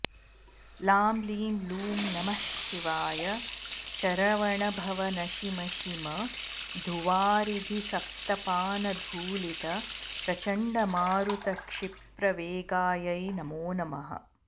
लां लीं लूं नमः शिवाय शरवणभव नशि मशि मधुवारिघिसप्तपानधूलितप्रचण्डमारुतक्षिप्रवेगायै नमो नमः